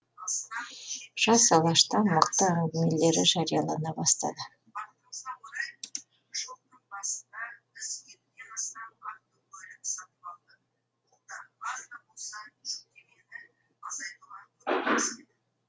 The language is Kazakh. жас алашта мықты әңгімелері жариялана бастады